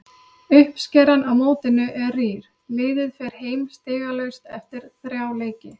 Uppskeran á mótinu er rýr, liðið fer heim stigalaust eftir þrjá leiki.